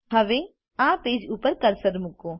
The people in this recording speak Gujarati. હવે આ પેજ ઉપર કર્સર મૂકો